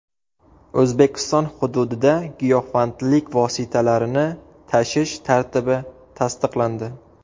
O‘zbekiston hududida giyohvandlik vositalarini tashish tartibi tasdiqlandi.